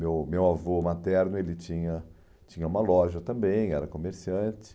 Meu meu avô materno ele tinha tinha uma loja também, era comerciante.